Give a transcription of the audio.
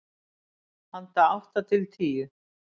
Handa átta til tíu